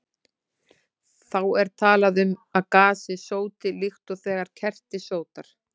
Þá er talað um að gasið sóti, líkt og þegar kerti sótar.